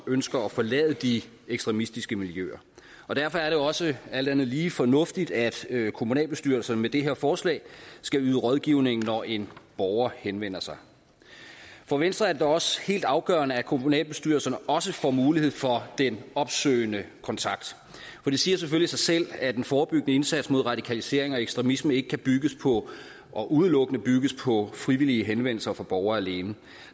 ønsker at forlade de ekstremistiske miljøer derfor er det jo også alt andet lige fornuftigt at kommunalbestyrelserne med det her forslag skal yde rådgivning når en borger henvender sig for venstre er det da også helt afgørende at kommunalbestyrelserne også får mulighed for den opsøgende kontakt for det siger selvfølgelig sig selv at den forebyggende indsats mod radikalisering og ekstremisme ikke kan bygges på og udelukkende kan bygges på frivillige henvendelser fra borgerne